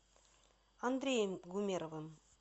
андреем гумеровым